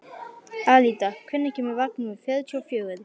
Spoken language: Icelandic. Alida, hvenær kemur vagn númer fjörutíu og fjögur?